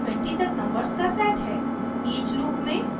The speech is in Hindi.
हमारे पास 1 से 20 तक नंबर्स का सेट है